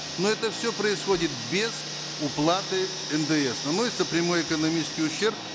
но это все происходит без уплаты ндс наносится прямой экономический ущерб